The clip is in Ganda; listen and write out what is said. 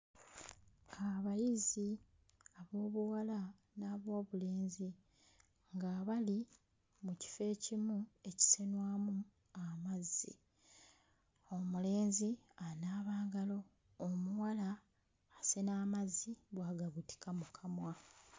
Abayizi ab'obuwala n'ab'obulenzi nga bali mu kifo ekimu ekisenwamu amazzi. Omulenzi anaaba ngalo omuwala asena amazzi bw'agabutika mu kamwa.